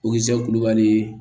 O ye kulubali ye